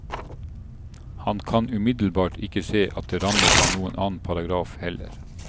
Han kan umiddelbart ikke se at det rammes av noen annen paragraf heller.